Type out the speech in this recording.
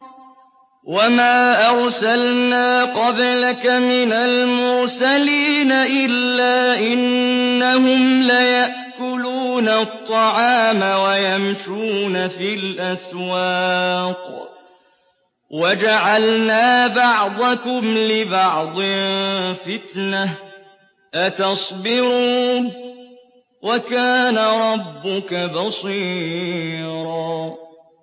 وَمَا أَرْسَلْنَا قَبْلَكَ مِنَ الْمُرْسَلِينَ إِلَّا إِنَّهُمْ لَيَأْكُلُونَ الطَّعَامَ وَيَمْشُونَ فِي الْأَسْوَاقِ ۗ وَجَعَلْنَا بَعْضَكُمْ لِبَعْضٍ فِتْنَةً أَتَصْبِرُونَ ۗ وَكَانَ رَبُّكَ بَصِيرًا